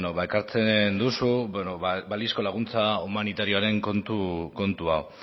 ekartzen duzu balizko laguntza humanitarioaren kontu hau